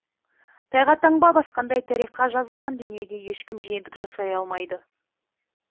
тайға таңба басқандай тарихқа жазылған дүниеге ешкім жиендік жасай алмайды